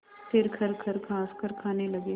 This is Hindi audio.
फिर खरखर खाँसकर खाने लगे